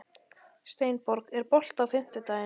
Steinborg, er bolti á fimmtudaginn?